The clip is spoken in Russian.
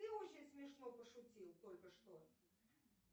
ты очень смешно пошутил только что